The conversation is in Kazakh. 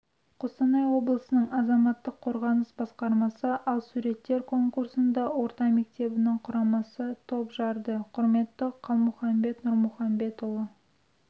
қостанай облысының азаматтық қорғаныс басқармасы ал суреттер конкурсында орта мектебінің құрамасы топ жарды құрметті қалмұханбет нұрмұханбетұлы